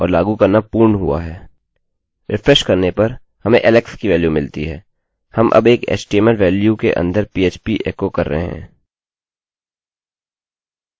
refresh करने पर हमें alex की वेल्यूमानमिलती है हम अब एक htmlएचटीएमएलवेल्यूमानके अंदर पीएचपीphp एकोecho कर रहे हैं